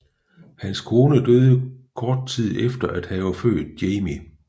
Hans kone døde kort tid efter at have født Jamie